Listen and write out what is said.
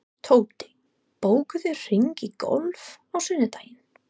Tóti, bókaðu hring í golf á sunnudaginn.